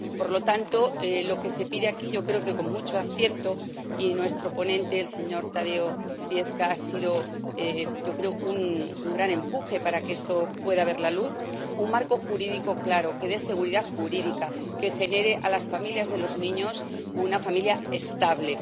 Por lo tanto, lo que se pide aquí, yo creo que con mucho acierto —y nuestro ponente Tadeusz Zwiefka, ha sido, yo creo, un gran empuje para que esto pueda ver la luz— es un marco jurídico claro que dé seguridad jurídica, que proporcione a las familias de los niños una familia estable.